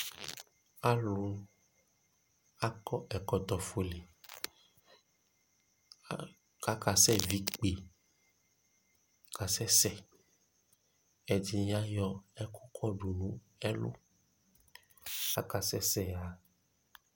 alʋ akɔ ɛkɔtɔ ƒʋɛ kʋ akɛsɛ vi ikpè kʋ akasɛsɛ, ɛdini ayɔ ɛkʋ kɔdʋ nʋ ɛlʋ kʋ akasɛsɛ ha